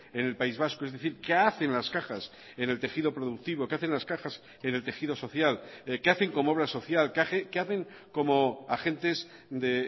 en el país vasco es decir qué hacen las cajas en el tejido productivo qué hacen las cajas en el tejido social qué hacen como obra social qué hacen como agentes de